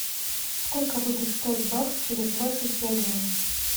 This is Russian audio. сколько будет стоить бакс через двадцать пять дней